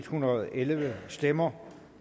hundrede og elleve stemmer